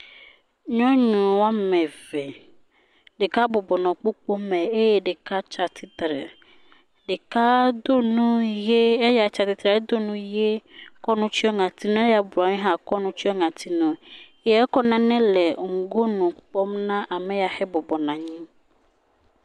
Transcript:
Nyɔnu woame eve, ɖeka bɔbɔ nɔ kpokpo me eye ɖeka tsatsitre, ɖeka do nu ye, eya tsatsitre do nu ye kɔ nu tsyɔ ŋɔtinu, eya bɔbɔ nɔ anyi hã kɔ nu tsyɔ ŋɔtinu eye ekɔ nane le ŋgonu kpɔm na eya bɔbɔ nɔ anyi.